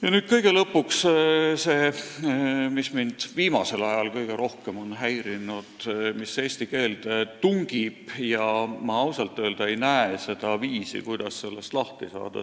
Ja nüüd kõige lõpuks see, mis mind viimasel ajal on kõige rohkem häirinud, mis eesti keelde tungib ja ma ausalt öelda ei näe viisi, kuidas sellest lahti saada.